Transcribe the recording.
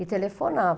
E telefonava.